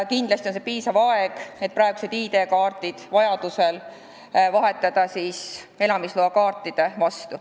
Kindlasti on see piisav aeg, et vajaduse korral vahetada praegused ID-kaardid elamisloakaartide vastu.